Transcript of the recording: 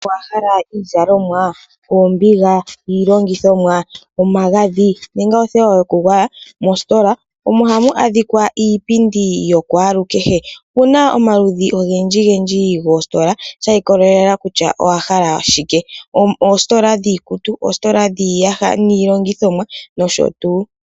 Owahala iizalomwa, oombidja, iilongithomwa, omagadhi nenge othewa yoku gwaya? Mostola omo hamu adhikwa iipindi yokwalu kehe. Opuna omaludhi ogendji gendji goostola, sha ikolelela kutya owahala shike. Ostola dhiikutu, oostola dhiiyaha niilongithomwa nsh.